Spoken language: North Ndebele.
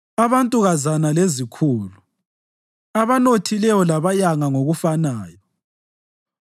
abantukazana lezikhulu, abanothileyo labayanga ngokufanayo: